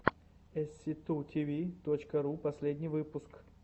эсситутиви точка ру последний выпуск